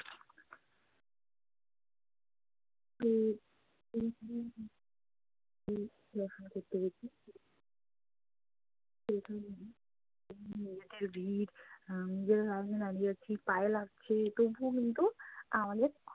ভিড় পায়ে লাগছে তবুও কিন্তু আমাদের